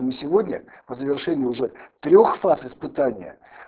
и сегодня по завершению уже трёх фаз испытания